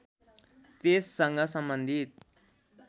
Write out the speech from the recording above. त्यससँग सम्बन्धित